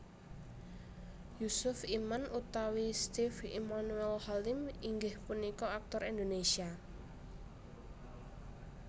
Yusuf Iman utawi Steve Emmanuel Halim inggih punika aktor Indonesia